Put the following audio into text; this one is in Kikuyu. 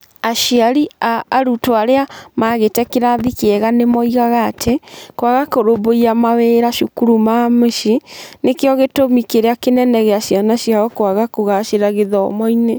Aciari a arutwo arĩa maagĩte kĩrathi kĩega nĩ moigaga atĩ kwaga kũrũmbũiya mawĩra cukuru ma mũciĩ nĩkĩo gĩtũmi kĩrĩa kĩnene gĩa ciana ciao kwaga kũgaacĩra gĩthomo-inĩ.